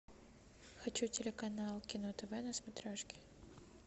хочу телеканал кино тв на смотрешке